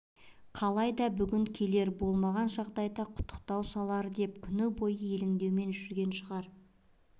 қалай да бүгін келер болмаған жағдайда құттықтау салар деп күні бойы елеңдеумен жүрген шығар